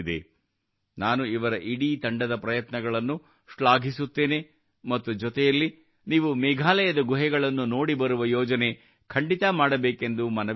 ನಾನು ಇವರ ಇಡೀ ತಂಡದ ಪ್ರಯತ್ನಗಳನ್ನು ಶ್ಲಾಘಿಸುತ್ತೇನೆ ಮತ್ತು ಜೊತೆಯಲ್ಲಿ ನೀವು ಮೇಘಾಲಯದ ಗುಹೆಗಳನ್ನು ನೋಡಿ ಬರುವ ಯೋಜನೆ ಖಂಡಿತಾ ಮಾಡಬೇಕೆಂದು ಮನವಿ ಮಾಡುತ್ತೇನೆ